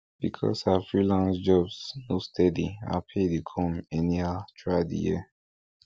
because her freelance jobs no steady her pay dey come anyhow throughout di year